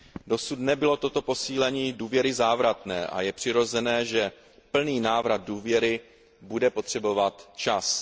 Dosud nebylo toto posílení důvěry závratné a je přirozené, že plný návrat důvěry bude potřebovat čas.